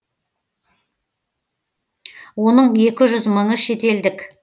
оның екі жүз мыңы шетелдік